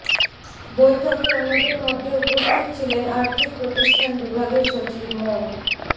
বৈঠকে অন্যদের মধ্যে উপস্থিত ছিলেন আর্থিক প্রতিষ্ঠান বিভাগের সচিব মো